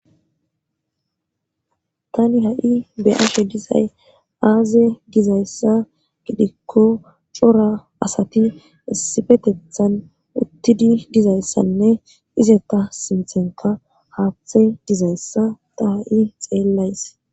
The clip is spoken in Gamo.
tani ha7i beyafe dizay aaze dizayssa gidikko cora asati essifetethan uttidi dizayssanne izeta sinthenka haaththe dizayssa ta ha7i xeellays